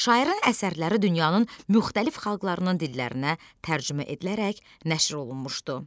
Şairin əsərləri dünyanın müxtəlif xalqlarının dillərinə tərcümə edilərək nəşr olunmuşdu.